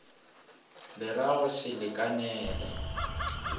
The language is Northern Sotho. le ra go se lekanele